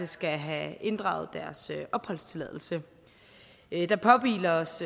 skal have inddraget deres opholdstilladelse der påhviler os